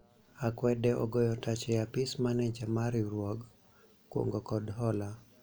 akwede ogoyo tach e apis maneja mar riwruog kungo kod hola